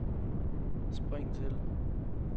spring til